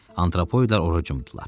Antropoidlər ora cumdular.